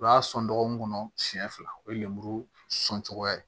U b'a sɔn dɔgɔkun kɔnɔ siɲɛ fila o ye lemuru sɔn cogoya ye